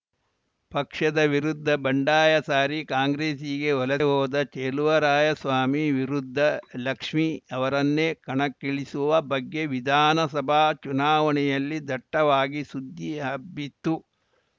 ಪಕ್ಷದ ವಿರುದ್ಧ ಬಂಡಾಯ ಸಾರಿ ಕಾಂಗ್ರೆಸ್ಸಿಗೆ ವಲಸೆ ಹೋದ ಚೆಲುವರಾಯಸ್ವಾಮಿ ವಿರುದ್ಧ ಲಕ್ಷ್ಮಿ ಅವರನ್ನೇ ಕಣಕ್ಕಿಳಿಸುವ ಬಗ್ಗೆ ವಿಧಾನಸಭಾ ಚುನಾವಣೆಯಲ್ಲಿ ದಟ್ಟವಾಗಿ ಸುದ್ದಿ ಹಬ್ಬಿತ್ತು